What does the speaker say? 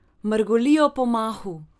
Mrgolijo po mahu.